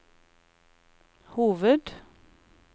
hoved